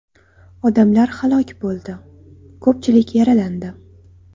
Odamlar halok bo‘ldi, ko‘pchilik yaralandi.